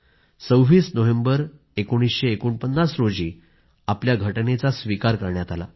26 November 1949 रोजी आपल्या घटनेचा स्वीकार करण्यात आला